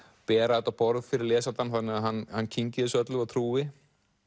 bera þetta á borð fyrir lesandann þannig að hann hann kyngi þessu öllu og trúi